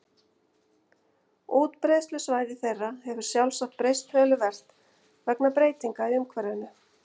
Útbreiðslusvæði þeirra hefur sjálfsagt breyst töluvert vegna breytinga í umhverfinu.